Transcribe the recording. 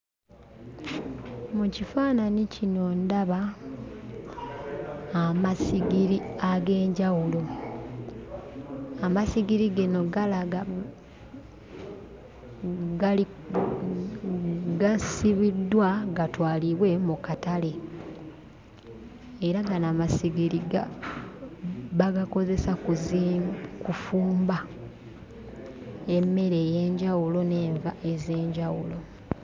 Mu kifaananyi kino ndaba amasigiri ag'enjawulo, amasigiri gano galaga gali gasibiddwa gatwalibwe mu katale era gano amasigiri ga bagakozesa kuzi kufumba emmere ey'enjwaulo n'enva ez'enjawulo.